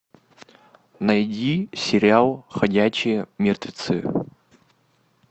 найди сериал ходячие мертвецы